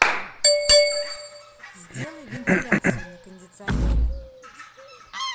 сделай вентиляцию на кондиционере